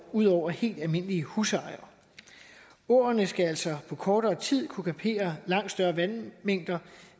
ud over helt almindelige husejere åerne skal altså på kortere tid kunne kapere langt større vandmængder